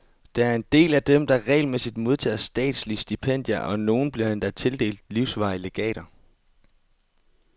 Der er en del af dem, der regelmæssigt modtager statslige stipendier, og nogle bliver endda tildelt livsvarige legater.